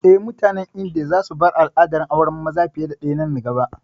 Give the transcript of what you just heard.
Eh, mutanen Indiya za su bar al'adar auren maza fiye da ɗaya nan gaba